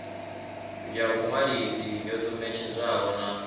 ya vhuṅwalisi yo ṱumetshedzwaho na